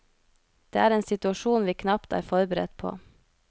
Det er en situasjon vi knapt er forberedt på.